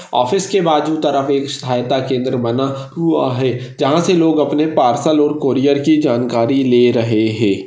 Office के बाजू तरफ़ एक सहायता केंद्र बना हुआ है जहाँ से लोग अपने पार्सल और कूरियर की जानकारी ले रहे है।